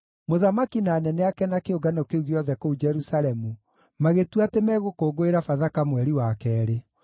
Mũthamaki na anene ake na kĩũngano kĩu gĩothe kũu Jerusalemu magĩtua atĩ megũkũngũĩra Bathaka mweri wa keerĩ.